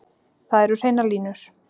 Það eru hreinar línur